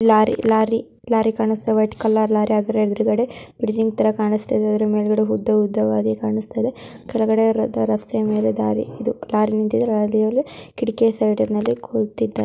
Lorry lorry lorry ಕಾಣಿಸ್ತಾ ಇದೆ white colour lorry ಅದರ ಎದರಗಡೆ ಡಿಸೈನ್ ತರ ಕಾಣಸ್ತಾ ಇದೆ ಅದರ ಮೇಲ್ಗಡೆ ಉದ್ದ ಉದ್ದವಾಗಿ ಕಾಣಿಸ್ತಾ ಇದೆ. ಕೆಳಗಡೆ ರಸ್ತೆ ಮೇಲೆ ದಾರಿ ಇದು ಲಾರಿ ನಿಂತಿದೆ.ಲಾರಿ ಯಲ್ಲಿ ಕಿಡಕಿ ಸೈಡ್ ನಲ್ಲಿ ಕುಳ್ತಿದ್ದಾರೆ.